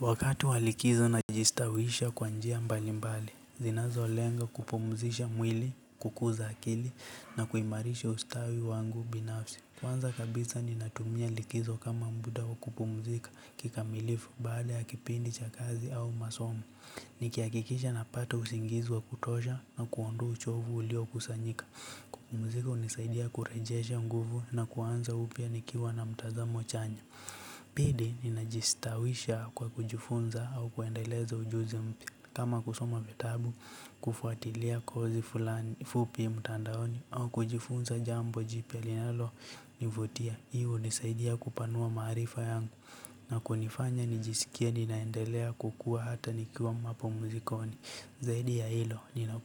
Wakati walikizo najistawisha kwa njia mbali mbali, zinazo lenga kupumzisha mwili, kukuza akili, na kuimarisha ustawi wangu binafsi. Kwanza kabisa ninatumia likizo kama muda wa kupumzika kikamilifu, baada ya kipindi cha kazi au masomo, ni kihakikisha na pata usingizi wa kutosha na kuondoa chovu ulio kusanyika. Kupumzika hunisaidia kurejesha nguvu na kuanza upya nikiwa na mtazamo chanya. Pindi ninajistawisha kwa kujifunza au kuendeleza ujuzi mpya kama kusoma vitabu kufuatilia kozi fulani fupi mtandaoni au kujifunza jambo jipya linalo nivutia. Hiyo hunisaidia kupanua maarifa yangu na kunifanya nijisikie ninaendelea kukua hata nikiwa mapumzikoni. Zaidi ya hilo, nina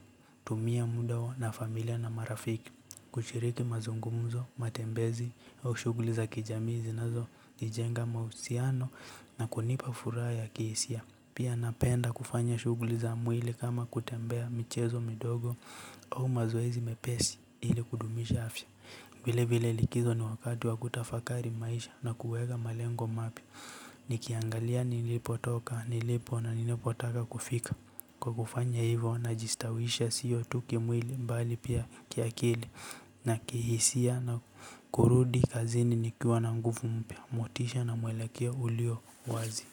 tumia muda huo na familia na marafiki. Kushiriki mazungumzo, matembezi au shughuli za kijamii zinazo nijenga mahusiano na kunipa furaha ya kihisia. Pia napenda kufanya shughuli za mwili kama kutembea michezo midogo au mazoezi mepesi ili kudumisha afya vile vile likizo ni wakati wakutafakari maisha na kuweka malengo mapya. Nikiangalia nilipo toka, nilipo na nilipo taka kufika. Kwa kufanya hivyo na jistawisha sio tu kimwili bali pia kiakili na kihisia na kurudi kazini nikiwa na nguvu mpya motisha na mwelekeo ulio wazi.